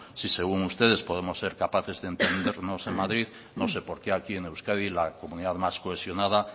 si según ustedes podemos ser capaces de entendernos en madrid no sé por qué aquí en euskadi la comunidad más cohesionada